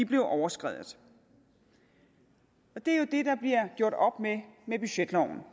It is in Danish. blev overskredet det er jo det der bliver gjort op med med budgetloven